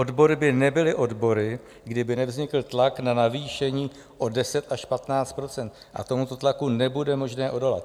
Odbory by nebyly odbory, kdyby nevznikl tlak na navýšení o 10 až 15 %, a tomuto tlaku nebude možné odolat.